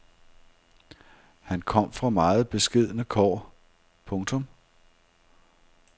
Han kom fra meget beskedne kår. punktum